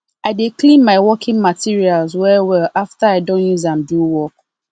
i dey clean my working materials well well after i don use am do work